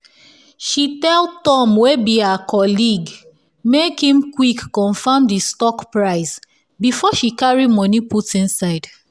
she tell tom wey be her colleague make him quick confam di stock price before she carry moni put inside